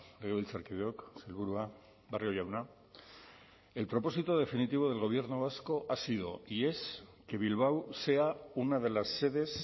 legebiltzarkideok sailburua barrio jauna el propósito definitivo del gobierno vasco ha sido y es que bilbao sea una de las sedes